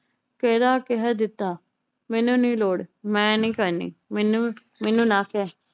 ਕਹਿਰਾ ਕਹਿ ਦਿੱਤਾ ਮੈਨੂੰ ਨੀ ਲੋੜ ਮੈ ਨੀ ਕਰਨੀ ਮੈਨੂੰ ਮੈਨੂੰ ਨਾ ਕਹਿ